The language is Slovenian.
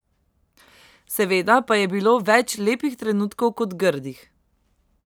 Seveda pa je bilo več lepih trenutkov kot grdih.